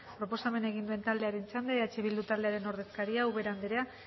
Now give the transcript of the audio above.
proposamen egin duen taldean txanda eh bildu taldearen ordezkaria ubera anderea